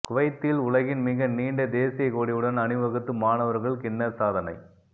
குவைத்தில் உலகின் மிக நீண்ட தேசிய கொடியுடன் அணிவகுத்து மாணவர்கள் கின்னஸ் சாதனை